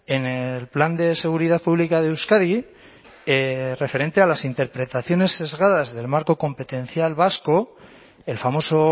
en el plan de seguridad pública de euskadi referente a las interpretaciones sesgadas del marco competencial vasco el famoso